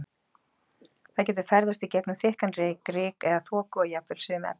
Það getur ferðast í gegnum þykkan reyk, ryk eða þoku og jafnvel sum efni.